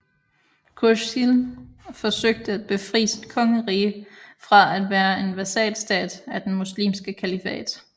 Khurshid forsøgte at befri sit kongerige fra at være en vasalstat af den muslimske kalifat